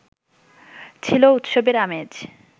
ছিল উৎসবের আমেজ